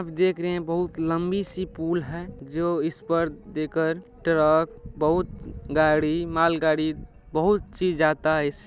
अब देख रहे हैं बहुत लंबी सी पूल है जो इस पर देकर ट्रक बहुत गाड़ी मालगाड़ी बहुत चीज जाता है इस--